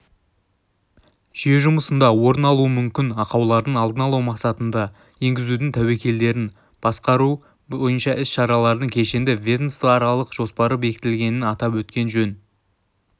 жүйе жұмысында орын алуы мүмкін ақаулардың алдын алу мақсатында енгізудің тәуекелдерін басқару бойынша іс-шаралардың кешенді ведомствоаралық жоспары бекітілгенін атап өткен жөн